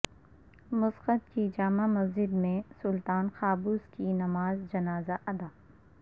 Muscat کی جامع مسجد میں سلطان قابوس کی نماز جنازہ ادا